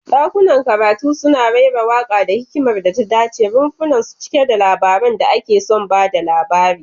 Dakunan karatu suna raira waƙa da hikimar da ta daɗe, rumfunansu cike da labaran da ake son ba da labari.